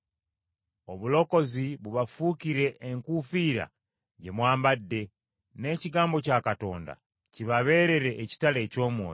Obulokozi bubafuukire enkuufiira gye mwambadde, n’ekigambo kya Katonda kibabeerere ekitala eky’Omwoyo,